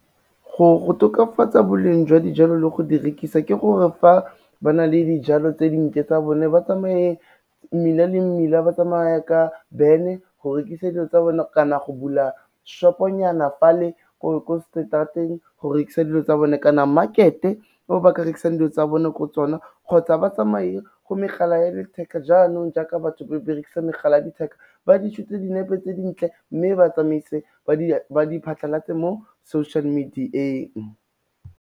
Go tokafatsa boleng jwa dijalo le go di rekisa, ke gore fa ba na le dijalo tse dintle tsa bone ba tsamaye mmila le mmila, ba tsamaye ka van-e go rekisa dilo tsa bone, kana go bula shop-o-nyana fa le, ko straat-eng go rekisa dilo tsa bone kana market-e o ba ka rekisang dilo tsa bone ko tsona, kgotsa ba tsamaye go megala ya letheka jaanong jaaka batho ba berekisa megala ya letheka ba di shoot-e dinepe tse dintle, mme ba tsamaise ba di phatlhalatse mo social media-eng.